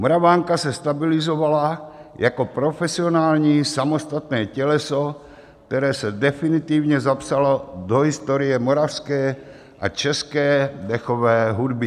Moravanka se stabilizovala jako profesionální samostatné těleso, které se definitivně zapsalo do historie moravské a české dechové hudby.